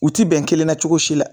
U ti bɛn kelenna cogo si la